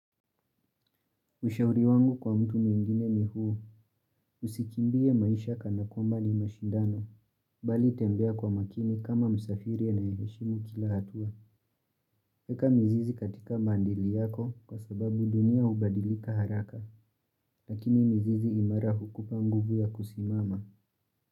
Ushauri wangu kwa mtu mwingine ni huu, usikimbie maisha kana kwamba mashindano, bali tembea kwa makini kama msafiri anayeheshimu kila hatua. Eka mizizi katika mandili yako kwa sababu dunia hubadilika haraka, lakini mizizi imara hukupa nguvu ya kusimama.